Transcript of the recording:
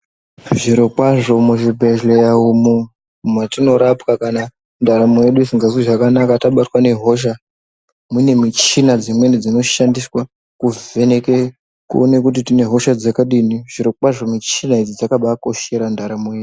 Zvirokwazvo muzvibhehleya umu mwetinorapwa kana ndaramo yedu isingazwi zvakanaka tabatwa nehosha mune michina dzimweni dzinoshandiswa kuvheneke kuone kuti tine hosha dzakadini zvirokwazvo michina idzi dzakabakoshera ndaramo yedu .